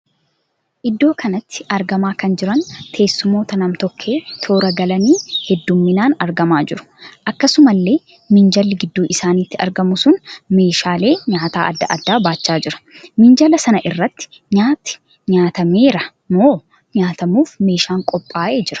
Iddoo kanatti argamaa kan jiran teessumoota nam-tokkee toora galanii hedduminaan argamaa jiru. Akkasumallee minjaalli gidduu isaaniitti argamu sun meeshaalee nyaataa adda addaa baachaa jira. Minjaala sana irratti nyaati nyaatameera moo nyaatamuuf meeshaan qophaa'ee jira?